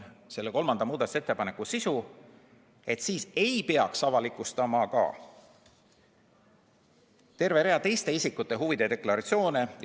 Kolmanda muudatusettepaneku sisu oli, et sel juhul ei peaks avalikustama ka terve rea teiste isikute huvide deklaratsiooni.